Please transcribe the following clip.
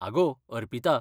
आगो, अर्पिता.